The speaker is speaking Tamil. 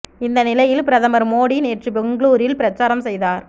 இந்த நிலையில் பிரதமர் மோடி நேற்று பெங்களூரில் பிரச்சாரம் செய்தார்